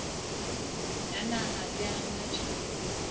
ya naha le ya matjhaba